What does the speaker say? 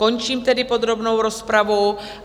Končím tedy podrobnou rozpravu.